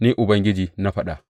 Ni Ubangiji na faɗa.